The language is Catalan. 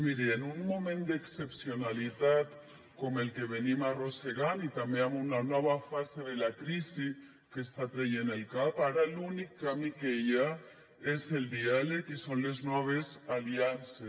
miri en un moment d’excepcionalitat com el que estem arrossegant i també amb una nova fase de la crisi que està traient el cap ara l’únic camí que hi ha és el diàleg i són les noves aliances